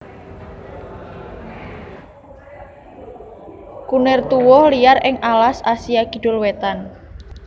Kunir tuwuh liar ing alas Asia Kidul wétan